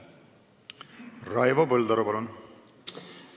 Raivo Põldaru, palun!